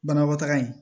Banakɔtaga in